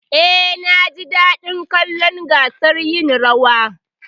Eh, naji daɗin kallon gasar yin rawar.